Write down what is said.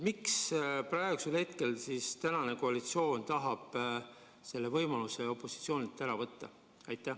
Miks praegune koalitsioon tahab opositsioonilt selle võimaluse ära võtta?